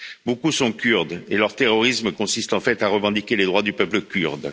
Beaucoup sont kurdes et leur terrorisme consiste en fait à revendiquer les droits du peuple kurde.